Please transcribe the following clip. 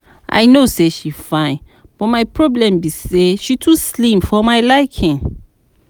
I no say she fine but my problem be say she too slim for my for my liking